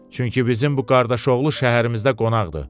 Çünki bizim bu qardaşoğlu şəhərimizdə qonaqdır.